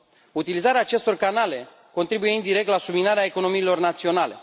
Utilizarea acestor canale contribuie indirect la subminarea economiilor naționale.